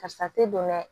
Karisa tɛ don dɛ